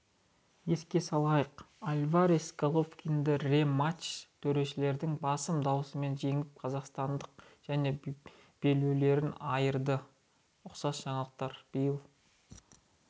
еске салайық альварес головкинді рематчта төрешілердің басым дауысымен жеңіп қазақстандықты және белбеулерінен айырды ұқсас жаңалықтар биыл